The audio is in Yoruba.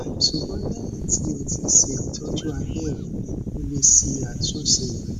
ṣugbọn lẹhin ti o ti ṣe itọju abẹrẹ o le ṣe atunṣe rẹ